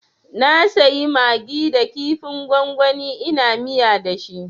Na sayi magi da kifin gwangwani ina miya dashi